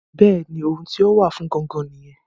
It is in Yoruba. Bẹ́ẹ̀ni ohun tí ó wà fún gan-an nìyẹn